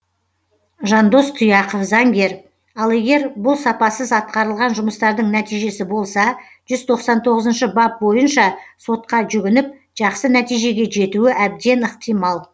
жандос тұяқов заңгер ал егер бұл сапасыз атқарылған жұмыстардың нәтижесі болса жүз тоқсан тоғызыншы бап бойынша сотқа жүгініп жақсы нәтижеге жетуі әбден ықтимал